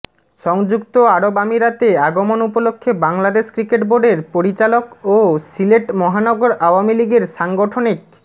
সংযুক্ত আরব আমিরাতে আগমন উপলক্ষে বাংলাদেশ ক্রিকেট বোর্ডের পরিচালক ও সিলেট মহানগর আওয়ামী লীগের সাংগঠনিক